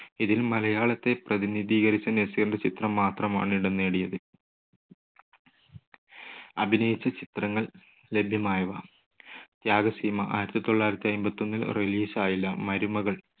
ഇതിൽ മലയാളത്തെ പ്രതിനിധീകരിച്ച് നസീറിന്റെ ചിത്രം മാത്രമാണ് ഇടം നേടിയത് അഭിനയിച്ച ചിത്രങ്ങൾ ലഭ്യമായവ. ത്യാഗസീമ ആയിരത്തി തൊള്ളായിരത്തി അയ്മ്പത്തൊന്നിൽ release ആയില്ല. മരുമകൾ